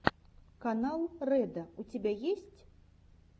канал рэдо у тебя есть